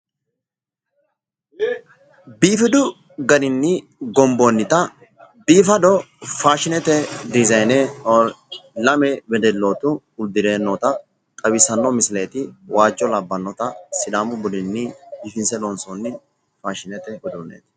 Biifadu daninni gomboonnita uddirino faashinete uduunneeti uddirino seenneeti